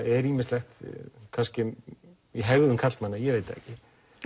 er ýmislegt kannski í hegðun karlmanna ég veit það ekki